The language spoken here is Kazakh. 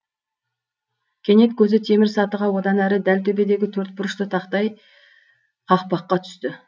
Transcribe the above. кенет көзі темір сатыға одан әрі дәл төбедегі төрт бұрышты тақтай қақпаққа түсті